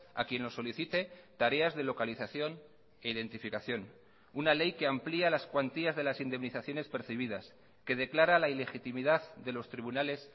a quien lo solicite tareas de localización e identificación una ley que amplía las cuantías de las indemnizaciones percibidas que declara la ilegitimidad de los tribunales